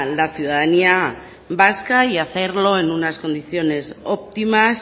la ciudadanía vasca y hacerlo en unas condiciones óptimas